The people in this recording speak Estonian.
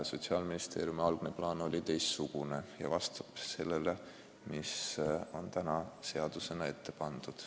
Sotsiaalministeeriumi algne plaan oli teistsugune ja vastab sellele, mis on täna seadusena ette pandud.